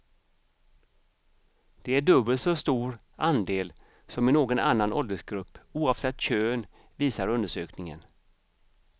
Det är dubbelt så stor andel som i någon annan åldersgrupp oavsett kön, visar undersökningen.